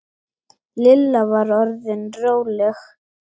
Lilla var orðin róleg.